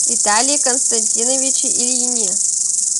виталии константиновиче ильине